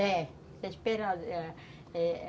É, está esperando, é